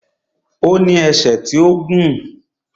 Ó ní ẹsẹ̀ tó gùn